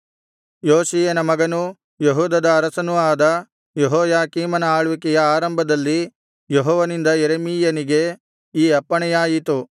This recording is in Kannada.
ಯೋಷೀಯನ ಮಗನೂ ಯೆಹೂದದ ಅರಸನೂ ಆದ ಯೆಹೋಯಾಕೀಮನ ಆಳ್ವಿಕೆಯ ಆರಂಭದಲ್ಲಿ ಯೆಹೋವನಿಂದ ಯೆರೆಮೀಯನಿಗೆ ಈ ಅಪ್ಪಣೆಯಾಯಿತು